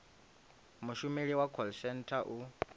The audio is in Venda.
mushumeli wa call centre u